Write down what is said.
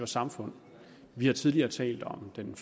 samfund vi har tidligere talt om den